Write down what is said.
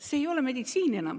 See ei ole enam meditsiin.